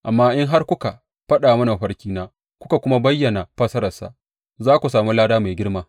Amma in har kuka faɗa mini mafarkina kuka kuma bayyana fassararsa, za ku sami lada mai girma.